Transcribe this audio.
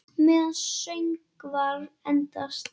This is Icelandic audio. Meðan söngvar endast